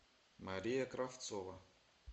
мария кравцова